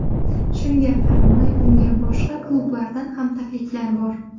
Shunga qaramay, unga boshqa klublardan ham takliflar bor .